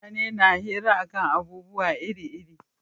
Mutane na hira a kan abubuwa iri iri